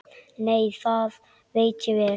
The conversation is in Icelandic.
Nei, það veit ég vel.